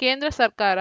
ಕೇಂದ್ರ ಸರ್ಕಾರ